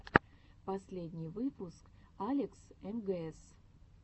последний выпуск алекс мгс